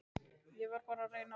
Ég verð bara að reyna að sofna.